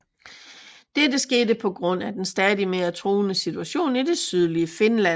Dette skete på grund af den stadig mere truende situation i det sydlige Finland